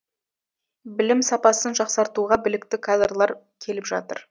білім сапасын жақсартуға білікті кадрлар келіп жатыр